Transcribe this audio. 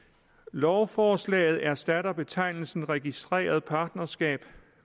lovforslaget erstatter betegnelsen registreret partnerskab